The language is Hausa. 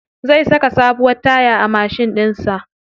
Zai saka sabuwar taya a mashin ɗin sa.